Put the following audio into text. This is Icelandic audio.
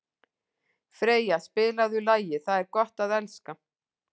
Freyja, spilaðu lagið „Það er gott að elska“.